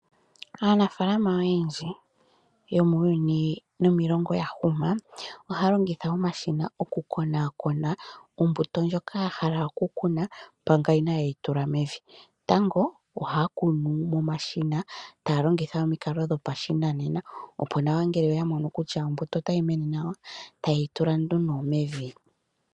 Aanafaalama oyendji yomuuyuni nomiilongo yahuma ohaya longitha omashina okukonakona ombuto ndjoka yahala okukuna manga inaayeyi tula mevi. Tango ohaya kunu momashina , taya longitha omikalo dhopashinanena opo ngele oyamono kutya otayi mene nawa, ohayeyi tula nduno mevi.